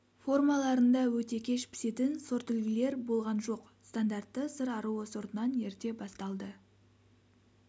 формаларында өте кеш пісетін сортүлгілер болған жоқ стандартты сыр аруы сортынан ерте басталды